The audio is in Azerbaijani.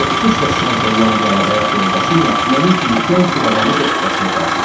Toppuş və şən hollandiyalı həyat yoldaşı ilə mənim kimi gənc bir adamı dostcasına qarşıladı.